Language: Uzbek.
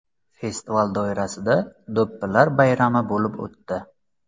Festival doirasida do‘ppilar bayrami bo‘lib o‘tdi.